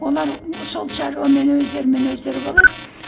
олар сол шаруамен өздерімен өздері болады